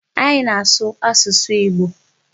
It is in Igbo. Anyị na-asụ asụsụ Igbo.